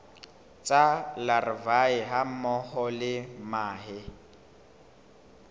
tsa larvae hammoho le mahe